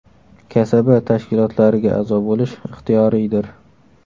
Kasaba tashkilotlariga a’zo bo‘lish ixtiyoriydir’.